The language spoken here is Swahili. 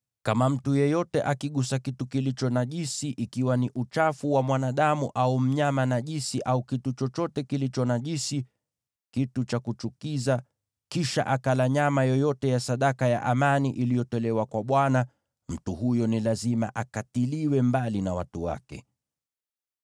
Kama mtu yeyote akigusa kitu kilicho najisi, iwe ni uchafu wa mwanadamu, au mnyama najisi, au kitu chochote kilicho najisi, kitu cha kuchukiza, kisha akala nyama yoyote ya sadaka ya amani iliyotolewa kwa Bwana , mtu huyo ni lazima akatiliwe mbali na watu wake.’ ”